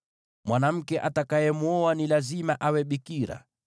“ ‘Mwanamke kuhani atakayemwoa lazima awe bikira.